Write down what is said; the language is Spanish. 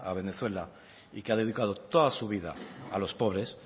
venezuela y que ha dedicado toda su vida a los pobres